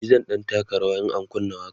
e zan ɗan taka rawa in an kunna waƙa